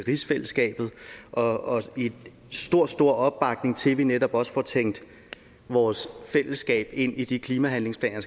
rigsfællesskabet og stor stor opbakning til at vi netop også får tænkt vores fællesskab ind i de klimahandlingsplaner